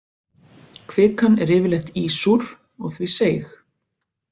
Kvikan er yfirleitt ísúr og því seig.